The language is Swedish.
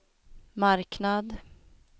marknad